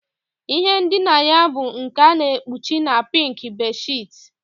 Ihe ndina ya bụ nke a na-ekpuchi na pink bedsheets